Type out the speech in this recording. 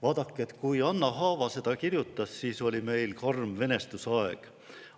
" Vaadake, kui Anna Haava seda kirjutas, siis oli meil karm venestusaeg.